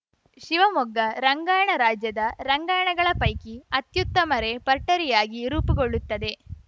ಶಿವಮೊಗ್ಗ ರಂಗಾಯಣ ರಾಜ್ಯದ ರಂಗಾಯಣಗಳ ಪೈಕಿ ಅತ್ಯುತ್ತಮರೆಪರ್ಟರಿಯಾಗಿ ರೂಪುಗೊಳ್ಳುತ್ತದೆ